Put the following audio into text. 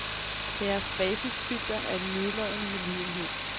Deres basisfilter er en nedladende medlidenhed.